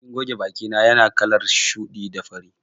Magogin goge bakina yana kalar shuɗi da fari.